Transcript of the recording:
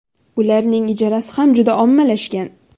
Ularning ijarasi ham juda ommalashgan.